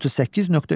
38.3.